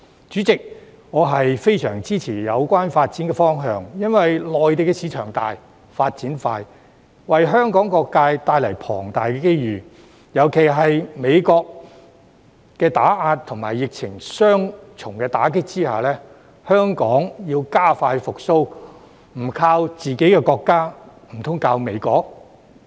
主席，我非常支持有關發展方向，因為內地市場大、發展快，為香港各界帶來龐大機遇，尤其在美國打壓和疫情的雙重打擊下，香港要加快復蘇，不靠自己的國家，難道靠美國？